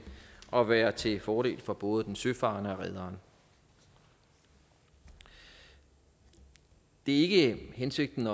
og vil være til fordel for både den søfarende og rederen det er ikke hensigten